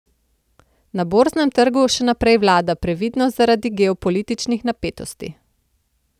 Na borznem trgu še naprej vlada previdnost zaradi geopolitičnih napetosti.